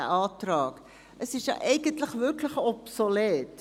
Der Antrag ist ja eigentlich obsolet.